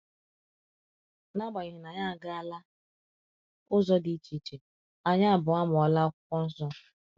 N’agbanyeghị na anyị agaala ụzọ dị iche iche, anyị abụọ amụọla Akwụkwọ Nsọ.